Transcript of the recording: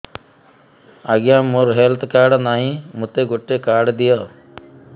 ଆଜ୍ଞା ମୋର health card ନାହିଁ ମୋତେ ଗୋଟେ କାର୍ଡ ଦିଅ